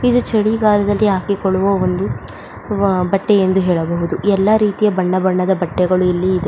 ಇದು ಚಳಿಗಾಲದಲ್ಲಿ ಹಾಕಿಕೊಳ್ಳುವ ಒಂದು ಬಟ್ಟೆ ಎಂದು ಹೇಳಬಹುದು ಎಲ್ಲ ರೀತಿಯ ಬಣ್ಣ ಬಣ್ಣದ ಬಟ್ಟೆಗಳು ಇಲ್ಲಿ ಇವೆ.